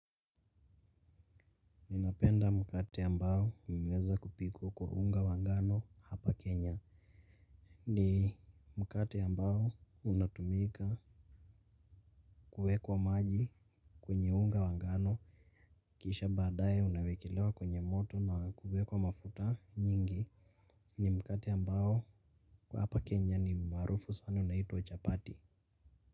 Ninapenda mkate ambao unaeza kupikwa kwa unga wa ngano hapa Kenya. Ni mkate ambao unatumika kuwekwa maji kwenye unga wa ngano kisha baadaye unawekelewa kwenye moto na kuwekwa mafuta nyingi. Ni mkate ambao kwa hapa Kenya ni maarufu sana unaitwa chapati.